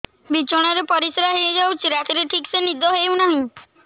ବିଛଣା ରେ ପରିଶ୍ରା ହେଇ ଯାଉଛି ରାତିରେ ଠିକ ସେ ନିଦ ହେଉନାହିଁ